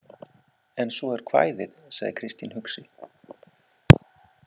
En svo er kvæðið, sagði Kristín hugsi.